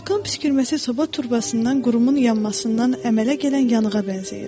Vulkan püskürməsi soba turbasından qurumun yanmasından əmələ gələn yanağa bənzəyir.